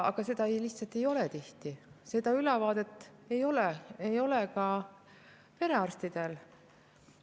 Aga seda ülevaadet ju tihti lihtsalt ei ole, ei ole ka perearstidel.